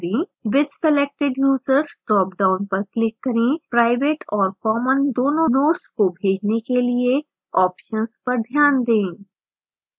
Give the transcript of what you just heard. with selected users dropdown पर click करें private और common दोनों notes को भेजने के लिए options पर ध्यान दें